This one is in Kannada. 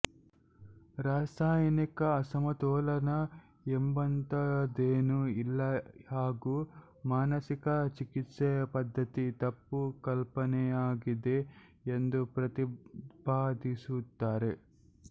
ರಾಸಾಯನಿಕ ಅಸಮತೋಲನ ಎಂಬಂಥದೇನೂ ಇಲ್ಲ ಹಾಗೂ ಮಾನಸಿಕ ಚಿಕಿತ್ಸಾ ಪದ್ಧತಿ ತಪ್ಪು ಕಲ್ಪನೆಯಾಗಿದೆ ಎಂದು ಪ್ರತಿಪಾದಿಸುತ್ತಾರೆ